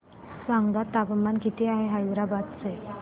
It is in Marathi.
सांगा तापमान किती आहे हैदराबाद चे